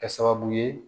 Kɛ sababu ye